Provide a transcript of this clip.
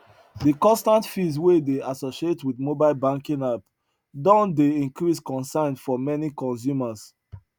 de constant fees wey dey associate wit mobile banking app don dey increase concern for many consumers